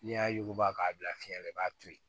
N'i y'a yuguba k'a bila fiɲɛ na i b'a to yen